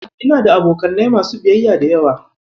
Ina da abokanai masu biyayya da yawa.